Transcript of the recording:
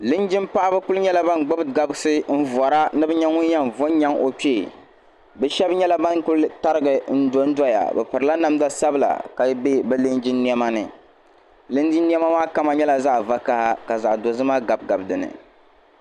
linjimpaɣiba kuli nyɛla ban gbubi gabisi n-vara ni bɛ nya ŋun yɛn va n-nyaŋ o kpee bɛ shɛba nyɛla ban kuli tarigi n-dondɔya bɛ pirila namda sabila ka be bɛ linjin' nema ni linjin' nema maa kama nyɛla zaɣ' vakaha ka zaɣ' dozima gabigabi di ni